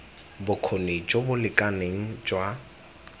bokgoni jo bo lekaneng jwa